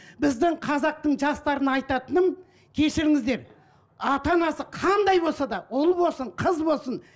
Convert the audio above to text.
біздің қазақтың жастарына айтатыным кешіріңіздер ата анасы қандай болса да ұл болсын қыз болсын